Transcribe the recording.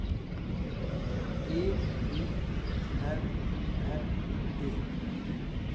V I N N E